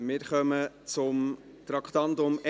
Wir kommen zum Traktandum 21.